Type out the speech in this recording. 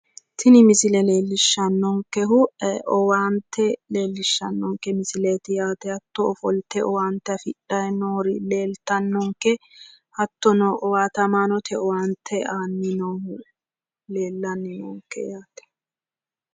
tini misile leellishshannonkehu owaante leellishshannonkeeti yaate hattono ofolte owaante afidhanni noori leeltannonke hattono owaatamaanote owaante aani noohu leellanni noonke yaate.